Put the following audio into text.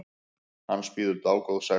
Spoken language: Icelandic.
Hans bíður dágóð sekt.